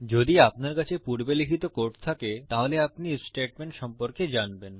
যদি আপনার কাছে পূর্বে লিখিত কোড থাকে তাহলে আপনি আইএফ স্টেটমেন্ট সম্পর্কে জানবেন